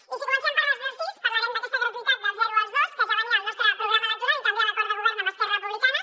i si comencem per les dels sís parlarem d’aquesta gratuïtat del zero als dos que ja venia al nostre programa electoral i també a l’acord de govern amb esquerra republicana